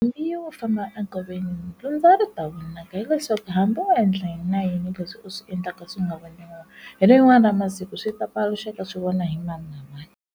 Mbuyelo wo famba enkoveni dyondza ri ta winaka hileswaku hambi u endla yini na yini leswi u swi endlaka swi nga vavanoniwangi hi lerin'wani ra masiku swi ta paluxaka swivona hi mani na mani.